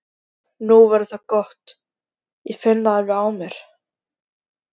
Nú verður það gott, ég finn það alveg á mér!